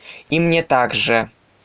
и мне также